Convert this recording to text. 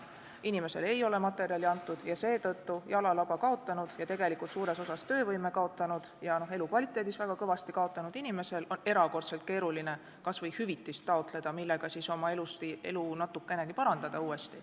Inimesele ei ole materjali antud, seetõttu on jalalaba kaotanul ja tegelikult suuresti töövõimes ja elukvaliteedis väga kõvasti kaotanud inimesel erakordselt keeruline taotleda kas või hüvitist, millega natukenegi oma elu parandada.